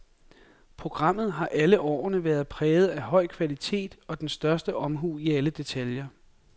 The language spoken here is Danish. Programmet har alle årene været præget af høj kvalitet og den største omhu i alle detaljer.